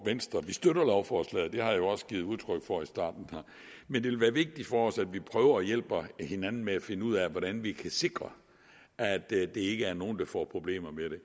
venstre vi støtter lovforslaget det har jeg jo også givet udtryk for her i starten men det vil være vigtigt for os at vi prøver at hjælpe hinanden med at finde ud af hvordan vi kan sikre at der ikke er nogen der får problemer med det